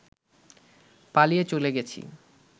পালিয়ে চলে গেছি